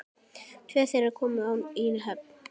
Tvö þeirra komu í höfn.